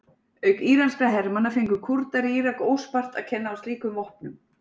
Auk íranskra hermanna fengu Kúrdar í Írak óspart að kenna á slíkum vopnum.